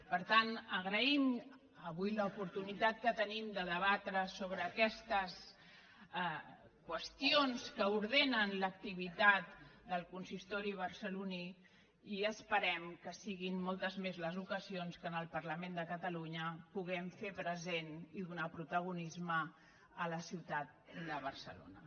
per tant agraïm avui l’oportunitat que tenim de debatre sobre aquestes qüestions que ordenen l’activitat del consistori barceloní i esperem que siguin moltes més les ocasions en què en el parlament de catalunya puguem fer present i donar protagonisme a la ciutat de barcelona